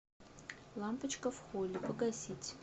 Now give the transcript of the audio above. лампочка в холле погасить